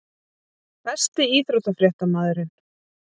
Besti íþróttafréttamaðurinn??